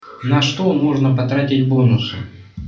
на что можно потратить бонусы